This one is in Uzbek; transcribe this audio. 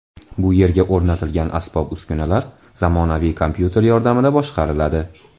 Bu yerga o‘rnatilgan asbob-uskunalar zamonaviy kompyuter yordamida boshqariladi.